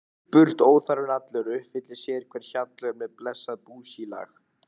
Burt burt óþarfinn allur, uppfyllist sérhver hjallur með blessað búsílag.